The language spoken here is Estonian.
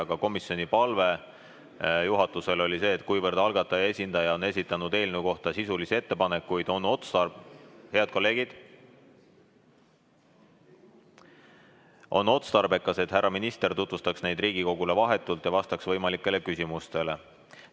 Aga komisjoni palve juhatusele oli see, et kuivõrd algataja esindaja on esitanud eelnõu kohta sisulisi ettepanekuid, siis on otstarbekas, et härra minister tutvustaks neid Riigikogule vahetult ja vastaks ka võimalikele küsimustele.